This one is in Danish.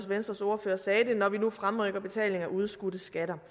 venstres ordfører sagde det når vi nu fremrykker betaling af udskudte skatter